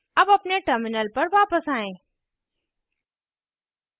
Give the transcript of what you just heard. अब अपने terminal पर वापस आएँ